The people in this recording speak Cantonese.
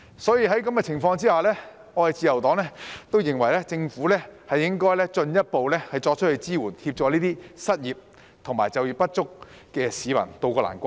所以，在這種情況下，自由黨都認為政府應該進一步作出支援，協助這些失業及就業不足的市民渡過難關。